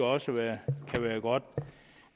også være godt